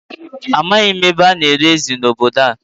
Amaghi m ebe ana ere ezi n'obodo a